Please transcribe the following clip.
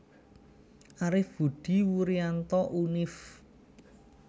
Arif Budi Wurianto Univ